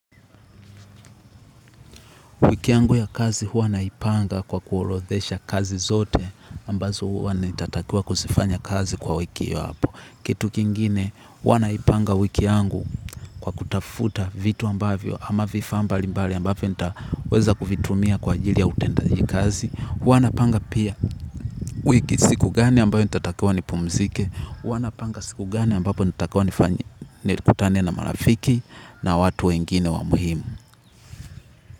Wiki yangu ya kazi huwa naipanga kwa kuorodhesha kazi zote ambazo huwa nitatakiwa kuzifanya kazi kwa wiki hiyo hapo. Kitu kingine huwa naipanga wiki yangu kwa kutafuta vitu ambavyo ama vifaa mbalimbali ambavyo nitaweza kuvitumia kwa ajili ya utendaji kazi. Huwa naipanga pia wiki siku gani ambayo nitatakiwa nipumzike. Huwa napanga siku gani ambapo natakiwa nikutane na marafiki na watu wengine wa muhimu.